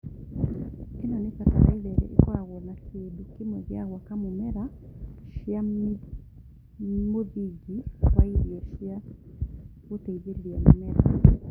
ĩno nĩ bataraitha ĩrĩa ĩkoragwo na kĩndũ kĩmwe gĩa gwaka mũmera cia mũthingi wa irio cia gũteithĩrĩria mũmera